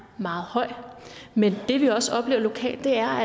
meget høj men det vi også oplever lokalt er